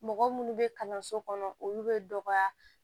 Mɔgɔ munnu bɛ kalanso kɔnɔ olu bɛ dɔgɔya